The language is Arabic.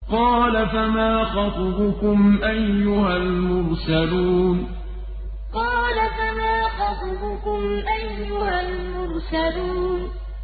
قَالَ فَمَا خَطْبُكُمْ أَيُّهَا الْمُرْسَلُونَ قَالَ فَمَا خَطْبُكُمْ أَيُّهَا الْمُرْسَلُونَ